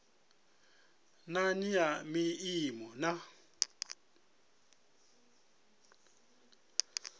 na nnyi ya maimo na